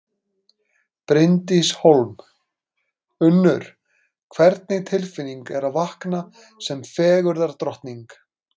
Bryndís Hólm: Unnur, hvernig tilfinning er að vakna sem fegurðardrottning?